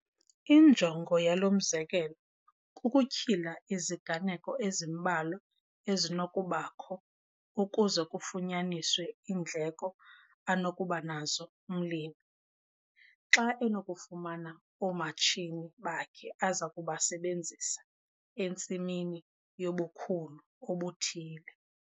Injongo yalo mzekelo kukutyhila iziganeko ezimbalwa ezinokubakho ukuze kufunyaniswe iindleko anokuba nazo umlimi, xa enokufumana oomatshini bakhe aza kubasebenzisa entsimini yobukhulu obuthile.